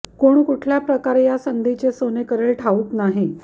कोण कुठल्या प्रकारे या संधीचे सोने करेल ठाऊक नाही